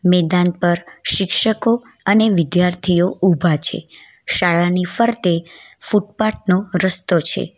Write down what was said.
મેદાન પર શિક્ષકો અને વિદ્યાર્થીઓ ઊભા છે શાળાની ફરતે ફૂટપાથ નો રસ્તો છે.